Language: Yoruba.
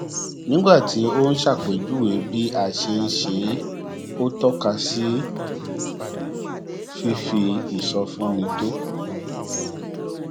nígbà tó ń ṣàpèjúwe bí a ṣe ń ṣe é ó tọka sí fífi ìsọfúnni tó